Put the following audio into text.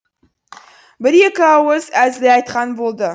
бір екі ауыз әзіл айтқан болды